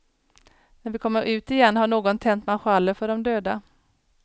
När vi kommer ut igen har någon tänt marschaller för de döda.